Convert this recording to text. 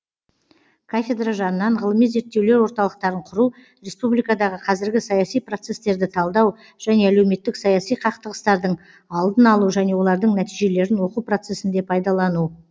кафедра жанынан ғылыми зерттеулер орталықтарын құру республикадағы қазіргі саяси процестерді талдау және әлеуметтік саяси қақтығыстардың алдын алу және олардың нәтижелерін оқу процесінде пайдалану